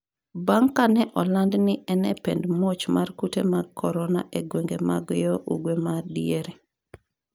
bang' kane olandi ni en e pend muoch mar kute mag korona e gwenge mag yo ugwe ma diere